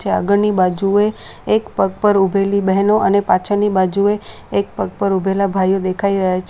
જે આગળની બાજુએ એક પગ પર ઉભેલી બેહનો અને પાછળની બાજુએ એક પગ પર ઊભેલા ભાઈઓ દેખાઇ રહ્યા છે --